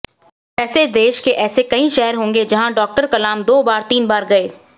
वैसे देश के ऐसे कई शहर होंगे जहां डॉक्टर कलाम दो बार तीन बार गए